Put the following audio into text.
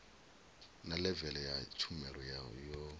na levele ya tshumelo yo